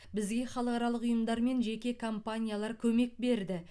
бізге халықаралық ұйымдар мен жеке компаниялар көмек берді